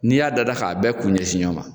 N' y'a bɛ dada k'a bɛ kun ɲɛsin ɲɔgɔn man